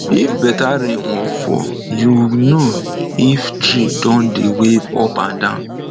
if better rain wan fall you know if tree don dey wave up and down